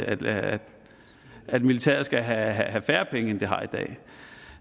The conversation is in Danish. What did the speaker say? at at militæret skal have have færre penge end det har i dag